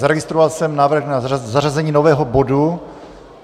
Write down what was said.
Zaregistroval jsem návrh na zařazení nového bodu.